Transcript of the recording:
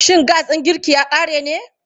Shin gas ɗin girki ya ƙare ne?